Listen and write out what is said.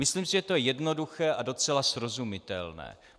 Myslím si, že to je jednoduché a docela srozumitelné.